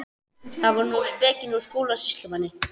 Þannig er nú spekin úr Skúla sýslumanni.